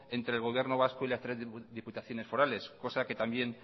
entre el gobierno vasco y la tres diputaciones forales cosa que también